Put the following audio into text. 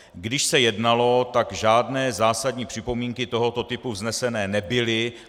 Když se jednalo, tak žádné zásadní připomínky tohoto typu vzneseny nebyly.